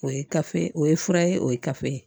O ye kafe o ye fura ye o ye kafe ye